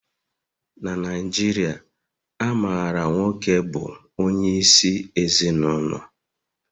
Na Naijiria, a maara nwoke bụ onyeisi ezinụlọ